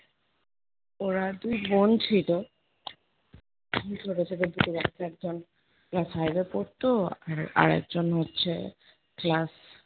ওরা দুই বোন ছিল। ছোট ছোট দুটো বাচ্চা, একজন class five এ পড়তো আর আরেকজন হচ্ছে class